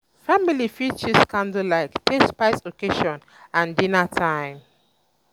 family um fit use candle light take spice occassion um and dinner time